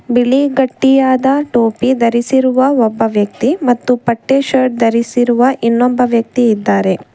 ಬಿಳಿ ಗಟ್ಟಿಯಾದ ಟೋಪಿ ಧರಿಸಿರುವ ಒಬ್ಬ ವ್ಯಕ್ತಿ ಮತ್ತು ಪಟ್ಟೆ ಶರ್ಟ್ ಧರಿಸಿರುವ ಇನ್ನೊಬ್ಬ ವ್ಯಕ್ತಿ ಇದ್ದಾರೆ.